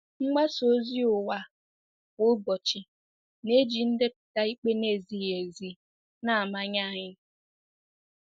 Mgbasa ozi ụwa kwa ụbọchị na-eji ndepụta ikpe na-ezighị ezi na-amanye anyị.